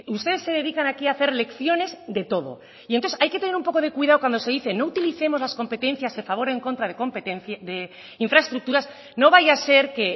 ustedes se dedican aquí a hacer lecciones de todo y entonces hay que tener un poco de cuidado cuando se dice no utilicemos las competencias a favor o en contra de infraestructuras no vaya a ser que